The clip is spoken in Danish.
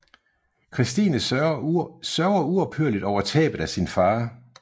Christine sørger uophørligt over tabet af sin far